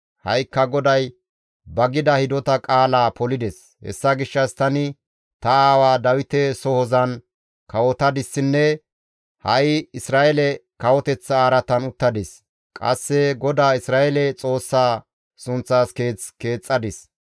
«Ha7ikka GODAY ba gida hidota qaalaa polides; hessa gishshas tani ta aawaa Dawite sohozan kawotadissinne ha7i Isra7eele kawoteththa araatan uttadis; qasse GODAA Isra7eele Xoossaa sunththaas Keeth keexxadis.